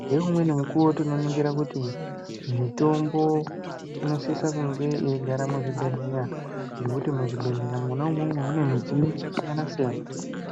Ngeumweni mukuwo tinoningira kuti mitombo inosisa kunge yeigara muzvibhehlera ngekuti muzvibhehleya mwona imwomwo mune midziyo yakasiyana-siyana